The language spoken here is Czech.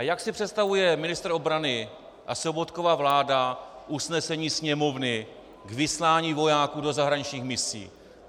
A jak si představuje ministr obrany a Sobotkova vláda usnesení Sněmovny k vyslání vojáků do zahraničních misí?